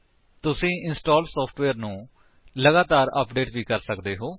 ਤੁਸੀ install software ਨੂੰ ਲਗਾਤਾਰ ਅਪਡੇਟ ਵੀ ਕਰ ਸਕਦੇ ਹੋ